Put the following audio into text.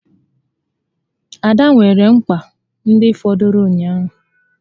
Ada weere mkpa ndị fọdụrụ ụnyaahụ